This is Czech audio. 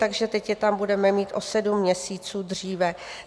Takže teď je tam budeme mít o sedm měsíců dříve.